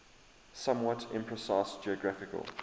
somewhat imprecise geographical